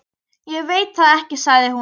Ég veit það ekki sagði hún.